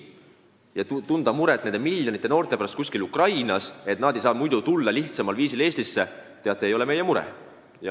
Ja tunda muret miljonite Ukraina noorte pärast, et nad ei saa muidu lihtsal viisil Eestisse tulla – teate, see ei ole meie mure.